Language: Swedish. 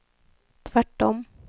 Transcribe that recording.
tvärtom